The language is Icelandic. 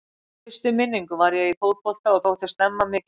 Frá fyrstu minningu var ég í fótbolta og þótti snemma mikið efni.